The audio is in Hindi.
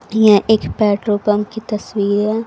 यह एक पेट्रोल पंप की तस्वीर है।